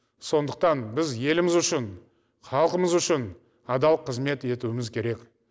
сондықтан біз еліміз үшін халқымыз үшін адал қызмет етуіміз керек